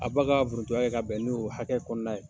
A ba ka foronto ka bɛn ni o hakɛ kɔnɔna ye.